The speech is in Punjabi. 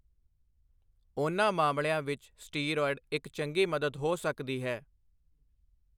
ਉਨ੍ਹਾਂ ਮਾਮਲਿਆਂ ਵਿੱਚ ਸਟੀਰਾਇਡ ਇੱਕ ਚੰਗੀ ਮਦਦ ਹੋ ਸਕਦੀ ਹੈ।